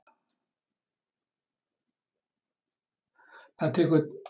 Það tekur tíma að pússa sig saman.